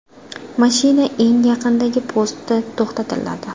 Mashina eng yaqindagi postda to‘xtatiladi.